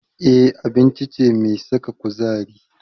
Eba abinci ce mai saka kuzari.